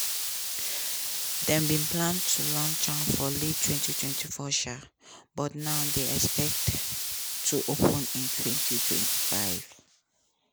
dem bin plan to launch am for late 2024 um but now dey expected to open in 2025.